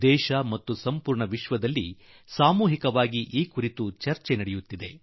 ದೇಶ ಮತ್ತು ವಿಶ್ವದಲ್ಲಿ ಸಾಮೂಹಿಕವಾಗಿ ಇದರ ಚರ್ಚೆಯಾಗುತ್ತಿದೆ